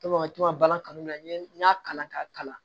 balan kanu la n ye n y'a kalan k'a kalan